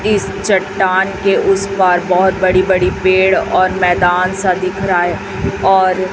इस चट्टान के उस पार बहोत बड़ी बड़ी पेड़ और मैदान सा दिख रहा है और--